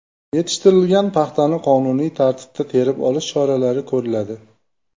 Yetishtirilgan paxtani qonuniy tartibda terib olish choralari ko‘riladi.